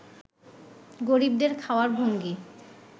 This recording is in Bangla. গরিবদের খাওয়ার ভঙ্গি